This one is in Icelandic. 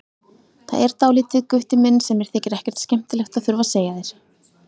Það er dálítið, Gutti minn, sem mér þykir ekkert skemmtilegt að þurfa að segja þér.